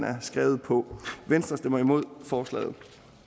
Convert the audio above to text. er skrevet på venstre stemmer imod forslaget